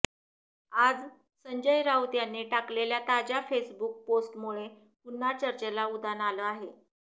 आज संजय राऊत यांनी टाकलेल्या ताज्या फेसबुक पोस्टमुळे पुन्हा चर्चेला उधाण आलं आहे